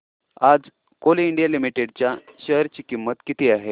आज Coal India Limited च्या share ची किंमत किती आहे